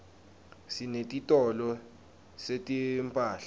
sinetitolo setimphahla